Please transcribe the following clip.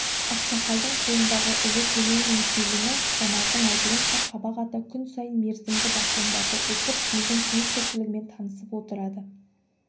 ақсақалдың қолындағы ұлы төлеу мен келіні жанардың айтуынша қабақ ата күн сайын мерзімді басылымдарды оқып елдің тыныс-тіршілігімен танысып отырады